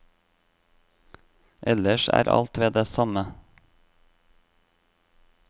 Ellers er alt ved det samme.